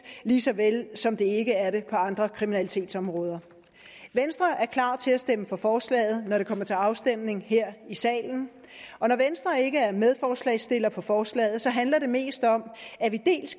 lige så vel som det ikke er det på andre kriminalitetsområder venstre er klar til at stemme for forslaget når det kommer til afstemning her i salen og når venstre ikke er medforslagsstillere på forslaget handler det mest om at vi